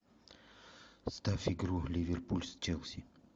поставь игру ливерпуль с челси